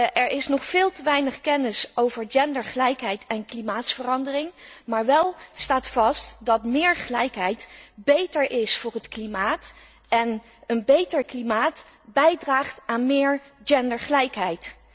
Er is nog veel te weinig kennis over gendergelijkheid en klimaatverandering, maar wél staat vast dat meer gelijkheid beter is voor het klimaat en een beter klimaat bijdraagt aan meer gendergelijkheid.